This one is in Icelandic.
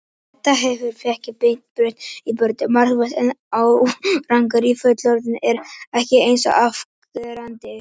Þetta hefur fækkað beinbrotum í börnum markvert en árangur í fullorðnum er ekki eins afgerandi.